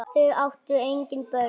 Þau áttu engin börn.